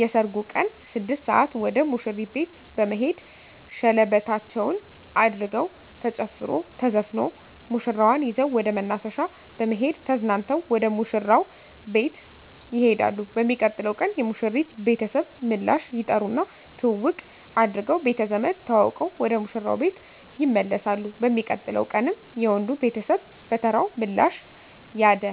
የሰርጉ ቀን 6 ሰአት ወደ ሙሽሪት ቤት በመሄድ ሸለበታቸዉን አድርገዉ ተጨፍሮ ተዘፍኖ ሙሽራዋን ይዘዉ ወደ መናፈሻ በመሄድ ተዝናንተዉ ወደ ሙሽራዉ ቤት ይሄዳሉ። በሚቀጥለዉ ቀን የሙሽሪት ቤተሰብ ምላሽ ይጠሩና ትዉዉቅ አድርገዉ ቤተዘመድ ተዋዉቀዉ ወደ ሙሽራዉ ቤት ይመለሳሉ። በሚቀጥለዉ ቀንም የወንዱ ቤተሰብ በተራዉ ምላሽ ያደ